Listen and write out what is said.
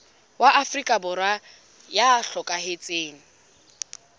wa afrika borwa ya hlokahetseng